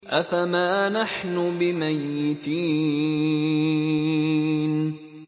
أَفَمَا نَحْنُ بِمَيِّتِينَ